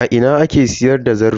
A ina ake siyar da zarto?